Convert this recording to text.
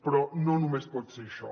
però no només pot ser això